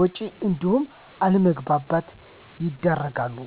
ወጭ እንዲሁም አለመግባባት ይዳረጋሉ።